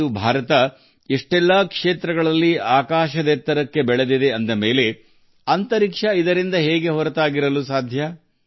ಇಂದು ನಮ್ಮ ಭಾರತವು ಹಲವಾರು ಕ್ಷೇತ್ರಗಳಲ್ಲಿ ಯಶಸ್ಸಿನ ಆಕಾಶವನ್ನು ಮುಟ್ಟುತ್ತಿರುವಾಗ ಆಕಾಶ ಅಥವಾ ಬಾಹ್ಯಾಕಾಶವು ಸ್ಪರ್ಶ ಲಭ್ಯವಾಗದೇ ಉಳಿಯುವುದು ಹೇಗೆ ಸಾಧ್ಯ